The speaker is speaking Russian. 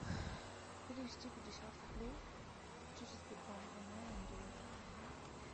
перевести пятьдесят рублей через сбербанк онлайн андрею